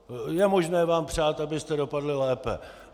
Je možné vám přát, abyste dopadli lépe.